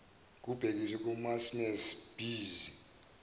kubhekiswe kumasmmes bees